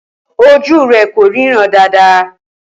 Ojú rẹ kò ríran dáadáa.